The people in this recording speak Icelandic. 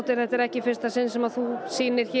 þetta er ekki í fyrsta sinn sem þú sýnir hér